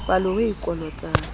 palo eo a e kolotang